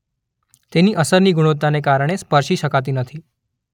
તેથી અસરની ગુણવત્તાને કારણને સ્પર્શી શકાતી નથી.